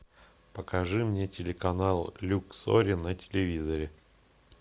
покажи мне телеканал люксори на телевизоре